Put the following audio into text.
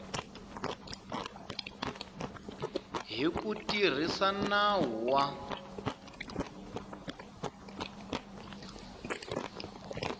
hi ku tirhisa nawu wa